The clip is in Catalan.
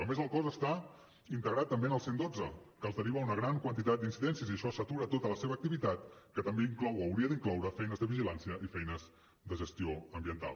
a més el cos està integrat també en el cent i dotze que els deriva una gran quantitat d’incidències i això satura tota la seva activitat que també inclou o hauria d’incloure feines de vigilància i feines de gestió ambiental